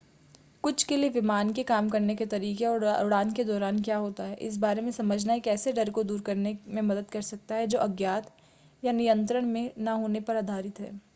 कुछ के लिए विमान के काम करने के तरीके और उड़ान के दौरान क्या होता है इस बारे में समझना एक ऐसे डर को दूर करने में मदद कर सकता है जो अज्ञात या नियंत्रण में न होने पर आधारित है